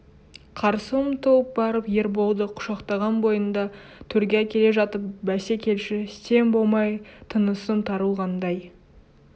қарсы ұмтылып барып ерболды құшақтаған бойында төрге әкеле жатып бәсе келші сен болмай тынысым тарылғандай